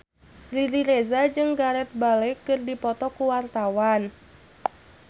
Riri Reza jeung Gareth Bale keur dipoto ku wartawan